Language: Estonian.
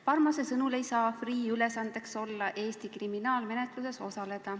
" Parmase sõnul ei saa Freeh' ülesandeks olla Eesti kriminaalmenetluses osaleda.